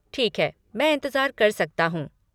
ठीक है, मैं इंतज़ार कर सकता हूँ।